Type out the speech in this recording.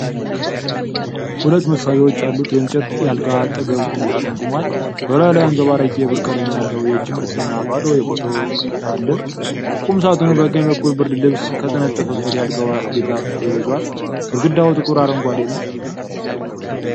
ሁለት መሳቢያዎች ያሉት የእንጨት የአልጋ አጠገብ ቁም ሳጥን ቆሟል:: በላዩ ላይ አንጸባራቂ የብር ቀለም ያለው የእጅ ቅርጽና ባዶ የፎቶ ክፈፍ አሉ። ቁም ሳጥኑ በቀኝ በኩል ብርድልብስ ከተነጠፈበት የአልጋው ራስጌ ጋር ተያይዟል:: ግድግዳው ጥቁር አረንጓዴ ነው።